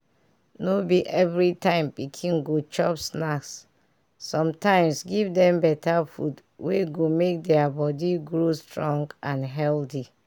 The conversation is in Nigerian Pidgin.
no be every time pikin go chop snacks sometimes give dem better food wey go make deir body grow strong and healthy.